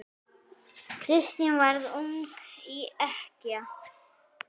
Kristín varð ung ekkja.